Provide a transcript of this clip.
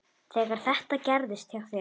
Þegar þetta gerðist hjá þér.